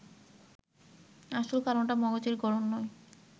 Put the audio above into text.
আসল কারণটা মগজের গড়ন নয়